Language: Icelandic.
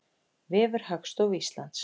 Vefur Hagstofu Íslands.